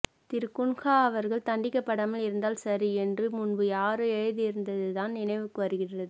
திரு குன்ஹா அவர்கள் தண்டிக்கப்படாமல் இருந்தால் சரி என்று முன்பு யாரோ எழுதியிருன்த்துதான் நினைவுக்கு வருகின்றது